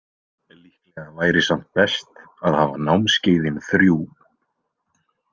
Líklega væri samt best að hafa námskeiðin þrjú.